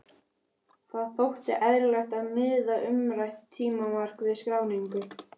Það þótti eðlilegt að miða umrætt tímamark við skráningu.